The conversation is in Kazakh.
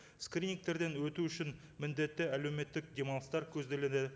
скринингтерден өту үшін міндетті әлеуметтік демалыстар көзделеді